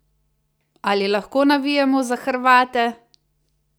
Ali lahko navijamo za Hrvate?